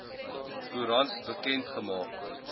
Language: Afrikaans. koerant bekend gemaak